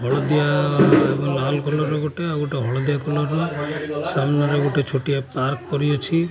ହଳଦିଆ ଏବଂ ଲାଲ କଲର୍ ର ଗୋଟେ ଆଉ ଗୋଟେ ହଳଦିଆ କଲର୍ ର ସାମ୍ନା ରେ ଗୋଟେ ଛୋଟିଆ ପାର୍କ ପରି ଅଛି।